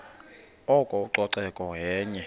oko ucoceko yenye